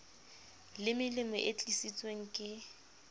le melemo e tlisitsweng ke